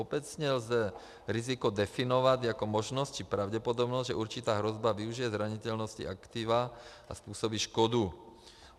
Obecně lze riziko definovat jako možnost či pravděpodobnost, že určitá hrozba využije zranitelnosti aktiva a způsobí škodu.